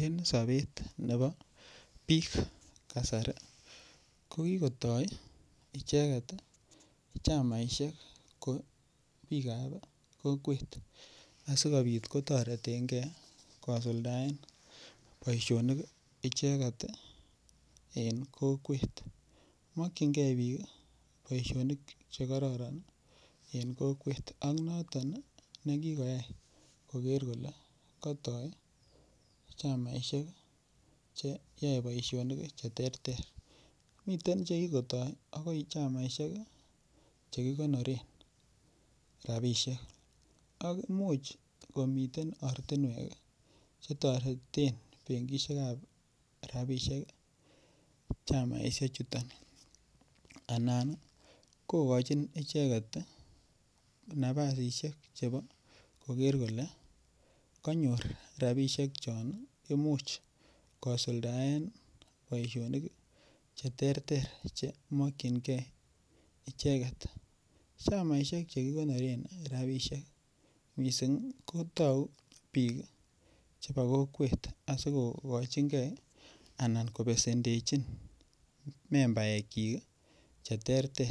en sobeet nebo biik kasari kogigotoi icheget iih chamaishek kouu biik ab kokweet asigobiit kotorengee kosuldaen boishonik iih icheget en kokweet, mokyingee biik iih boishonik chegororon en kokweet ak noton negigoyaai kogeer kole kotooi chamaishek cheyoe boishonik cheterter, miten chegigotoi iih chamaishek chegigonoreen rabishek, ak imuch komiten ortinweek chetoreten bangishek ab rabishek iih chamaishek chuton anan kogochin icheget nabasisiek chobo kogeer kole konyoor rabisjhek chon imuch kosudaen boishonik cheterter chemokyingee icheget, chamaishek chegikonoreen rabishek mising iih kotogu biik chebo kokweet asigogochingee ana kobesendechin membaeek chiik iih cheterter,